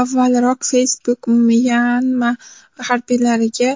Avvalroq Facebook Myanma harbiylariga